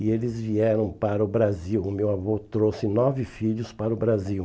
E eles vieram para o Brasil, o meu avô trouxe nove filhos para o Brasil.